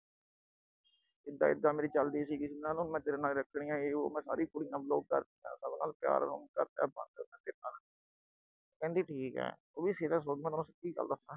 ਇਦਾ ਇਦਾ ਮੇਰੀ ਚੱਲਦੀ ਸੀ ਕਿਸੀ ਨਾਲ, ਮੈਂ ਤੇਰੇ ਨਾਲ ਰੱਖਣੀ ਆ, ਯੇ ਬੋਅ। ਮੈਂ ਸਾਰੀ ਕੁੜੀਆਂ block ਕਰਤੀਆਂ। ਸਭ ਨਾਲ ਪਿਆਰ ਕਰਤਾ ਬੰਦ। ਮੈਂ ਤੇਰੇ ਨਾਲ ਰੱਖਣੀ ਏ। ਕਹਿੰਦੀ ਠੀਕ ਐ। ਉਹ ਵੀ serious ਹੋ ਗਈ। ਮੈਂ ਤੈਨੂੰ ਸਿੱਧੀ ਗੱਲ ਦੱਸਾ।